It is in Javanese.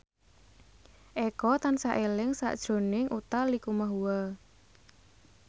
Eko tansah eling sakjroning Utha Likumahua